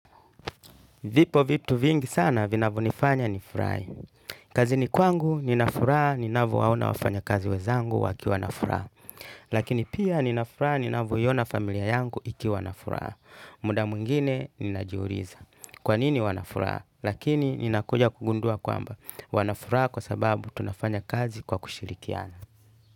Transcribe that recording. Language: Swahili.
Vipo vitu vingi sana vinavyonifanya nifurahi. Kazini kwangu, nina furaha, ninavowaona wafanyakazi wenzangu wakiwa na furaha. Lakini pia nina furaha, ninavyoiona familia yangu ikiwa na furaha. Muda mwingine, ninajiuliza. Kwa nini wana furaha? Lakini, ninakuja kugundua kwamba. Wana furaha kwa sababu tunafanya kazi kwa kushirikiana.